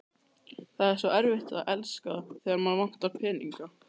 Það er svo erfitt að elska, þegar mann vantar peninga